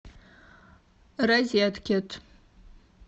розеткед